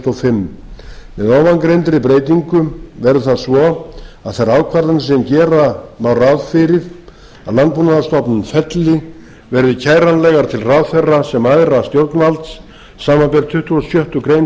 og fimm með ofangreindri breytingu verður það svo að þær ákvarðanir sem gera má ráð fyrir að landbúnaðarstofnun felli verði kæranlegar til ráðherra sem æðra stjórnvalds samanber tuttugustu og sjöttu